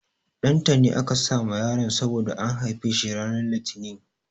Ɗantani aka sa ma yaron saboda an haife shi ranar Litinin.